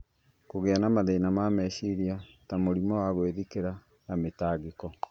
kũgĩa na mathĩna ma meciria ta mũrimũ wa gwĩthikĩra na mĩtangĩko.